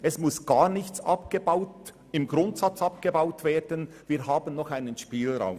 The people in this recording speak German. Im Grundsatz muss gar nichts abgebaut werden, denn wir haben noch einen Spielraum.